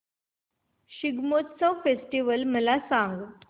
Shigmotsav festival मला सांग